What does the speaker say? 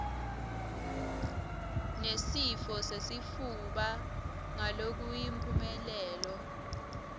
nesifo sesifuba ngalokuyimphumelelo